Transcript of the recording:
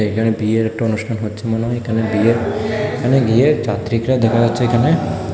এখানে বিয়ের একটা অনুষ্ঠান হচ্ছে মনে হয় এখানে বিয়ের এখানে বিয়ের যাত্রীকরা দেখা যাচ্ছে এখানে।